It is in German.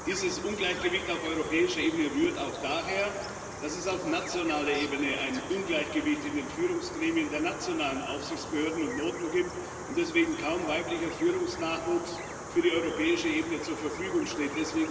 Dieses Ungleichgewicht auf europäischer Ebene rührt auch daher, dass es auf nationaler Ebene ein Ungleichgewicht in den Führungsgremien der nationalen Aufsichtsbehörden und Notenbanken gibt und deswegen kaum weiblicher Führungsnachwuchs für die europäische Ebene zur Verfügung steht.